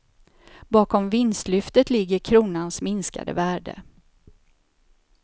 Bakom vinstlyftet ligger kronans minskade värde.